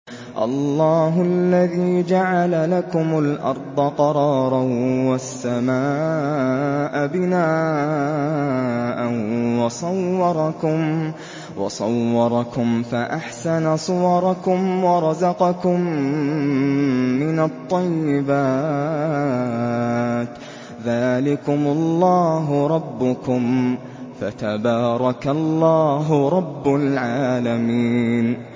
اللَّهُ الَّذِي جَعَلَ لَكُمُ الْأَرْضَ قَرَارًا وَالسَّمَاءَ بِنَاءً وَصَوَّرَكُمْ فَأَحْسَنَ صُوَرَكُمْ وَرَزَقَكُم مِّنَ الطَّيِّبَاتِ ۚ ذَٰلِكُمُ اللَّهُ رَبُّكُمْ ۖ فَتَبَارَكَ اللَّهُ رَبُّ الْعَالَمِينَ